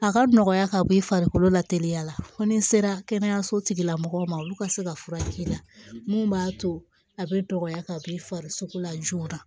A ka nɔgɔya ka b'i farikolo la teliya la fo ni sera kɛnɛyaso tigilamɔgɔw ma olu ka se ka furakɛ k'i la mun b'a to a bɛ dɔgɔya ka b'i fari la joona